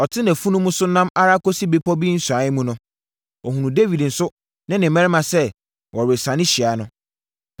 Ɔte nʼafunumu so nam ara kɔsii bepɔ bi nsiane mu no, ɔhunuu Dawid nso ne ne mmarima sɛ wɔresiane hyia no.